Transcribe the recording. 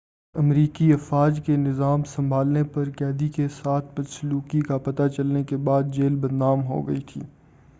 امریکی افواج کے نظام سنبھالنے پر قیدی کے ساتھ بدسلوکی کا پتہ چلنے کے بعد جیل بدنام ہو گئی تھی